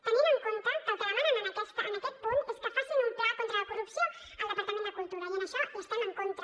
tenint en compte que el que demanen en aquest punt és que facin un pla contra la corrupció al departament de cultura i en això hi estem en contra